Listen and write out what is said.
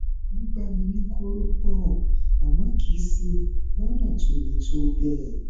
wọn gbá mi ní kórópọọ àmọ kìí ṣe lọnà tó le tó bẹẹ